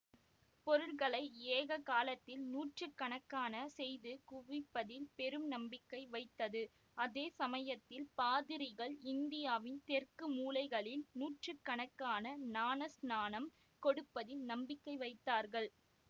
பொருள்களை ஏக காலத்தில் நூற்றுக்கணக்காகச் செய்து குவிப்பதில் பெரும் நம்பிக்கை வைத்தது அதே சமயத்தில் பாதிரிகள் இந்தியாவின் தெற்கு மூலைகளில் நூற்றுக்கணக்காக ஞானஸ்நானம் கொடுப்பதில் நம்பிக்கை வைத்தார்கள்